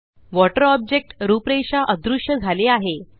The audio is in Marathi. वॉटर ऑब्जेक्ट रूपरेषा अदृश्य झाली आहे